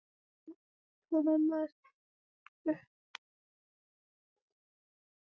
Thomas hrukkaði ennið og virtist órótt.